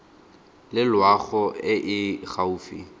le loago e e gaufi